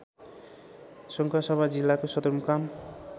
सङ्खुवासभा जिल्लाको सदरमुकाम